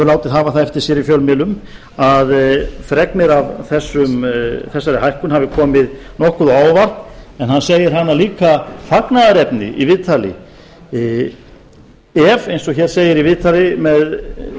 látið hafa það eftir sér í fjölmiðlum að fregnir af þessari hækkun hafi komið nokkuð á óvart en hann segir hana líka fagnaðarnefni í viðtali ef eins og hér segir í viðtali með